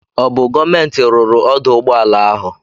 Ọ bụ gọọmenti ruru ọdụ ụgbọala ahụ?